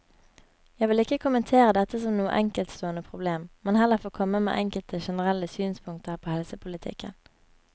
Jeg vil ikke kommentere dette som noe enkeltstående problem, men heller få komme med enkelte generelle synspunkter på helsepolitikken.